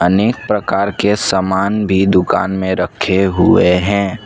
अनेक प्रकार के सामान भी दुकान में रखे हुए हैं।